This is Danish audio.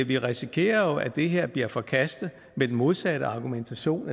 vi risikerer jo at det her bliver forkastet med den modsatte argumentation